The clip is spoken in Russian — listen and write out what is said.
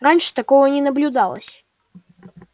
раньше такого не наблюдалось